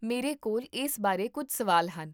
ਮੇਰੇ ਕੋਲ ਇਸ ਬਾਰੇ ਕੁੱਝ ਸਵਾਲ ਹਨ